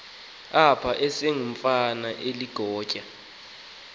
apha esengumfana oligatya